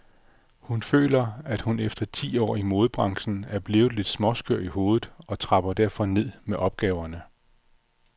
Hun føler, at hun efter ti år i modebranchen er blevet lidt småskør i hovedet og trapper derfor ned med opgaverne.